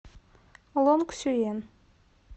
лонгсюен